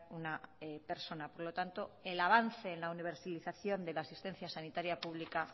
una persona por lo tanto el avance en la universalización de la asistencia sanitaria pública